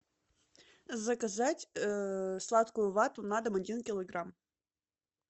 заказать сладкую вату на дом один килограмм